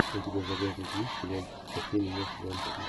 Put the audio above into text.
у тебя в загажнике есть сериальчик спаси меня сезон три